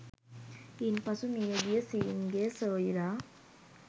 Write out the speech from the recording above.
ඉන් පසු මිය ගිය සීන් ගේ සොයුරා